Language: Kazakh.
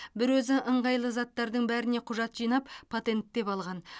бір өзі ыңғайлы заттардың бәріне құжат жинап патенттеп алған